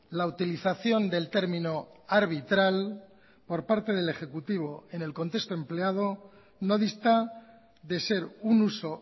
la utilización del término arbitral por parte del ejecutivo en el contexto empleado no dista de ser un uso